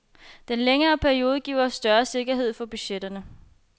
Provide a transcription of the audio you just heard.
Den længere periode giver større sikkerhed for budgetterne.